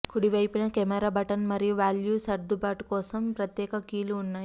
కుడి వైపున camera button మరియు వాల్యూ సర్దుబాటు కోసం ప్రత్యేక కీలు ఉన్నాయి